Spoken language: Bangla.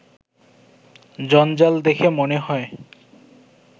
জঞ্জাল দেখে মনে হয়